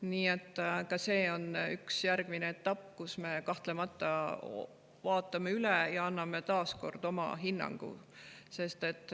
Nii et ka see on üks järgmine etapp, kui me kahtlemata vaatame selle üle ja anname taas kord oma hinnangu.